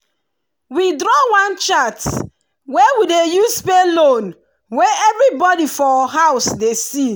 we draw one chart wey we dey use pay loan wey everybody for house dey see.